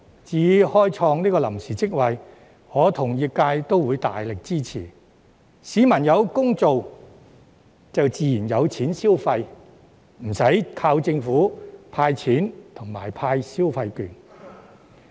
至於開創臨時職位，我與業界均大力支持，市民有工開便自然有錢消費，不用靠政府"派錢"及派消費券。